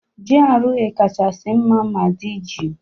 GRA kachasị mma ma dị jụụ